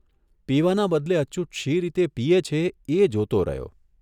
પીવાના બદલે અચ્યુત શી રીતે પીએ છે એ જોતો રહ્યો.